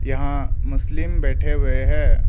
यहां मुस्लिम बैठे हुए हैं।